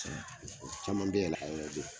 Caman bɛ